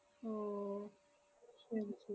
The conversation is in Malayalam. ഓ ശെരി ശെ~